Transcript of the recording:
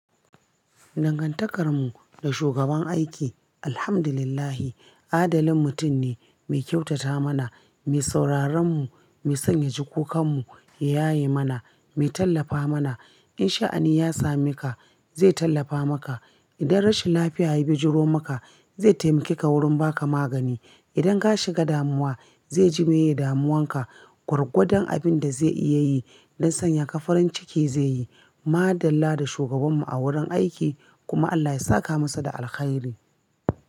Dangantakarmu da shugaban aiki, Alhamdulillah adalin mutum ne mai kyautata mana, mai saurarenmu, mai son yaji kukan mu, ya yaye mana, mai tallafa mana. In sha'ani ya same ka zai tallafa maka. Idan rashin lafiya ya bijiro maka zai taimake ka wurin ba ka magani. Idan ka shiga damuwa zai jimeye damuwanka. Gwargwadon abin da zai iya yi don sanya ka farin ciki zai yi. Madalla da shugabanmu a wurin aiki kuma Allah ya saka masa da alkhairi.